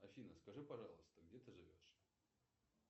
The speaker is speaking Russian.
афина скажи пожалуйста где ты живешь